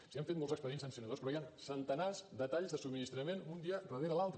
sí han fet molts expedients sancionadors però hi han centenars de talls de subministrament un dia darrere l’altre